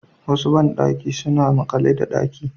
Wasu bandaki suna makale da daki